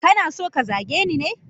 Kana so ka zage ni ne?